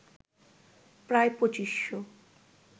প্রায় ২৫০০